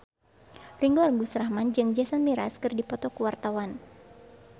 Ringgo Agus Rahman jeung Jason Mraz keur dipoto ku wartawan